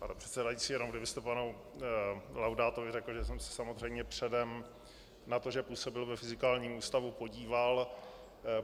Pane předsedající, jenom kdybyste panu Laudátovi řekl, že jsem se samozřejmě předem na to, že působil ve Fyzikálním ústavu, podíval.